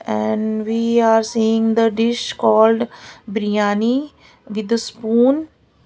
and we are seeing the dish called biriyani with spoon.